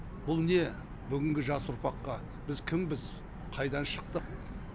бұл не бүгінгі жас ұрпаққа біз кімбіз қайдан шықтық